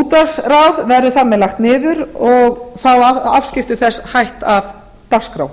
útvarpsráð verður þar með lagt niður og þá afskipti þess hætt af dagskrá